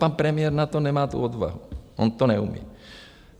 Pan premiér na to nemá tu odvahu, on to neumí.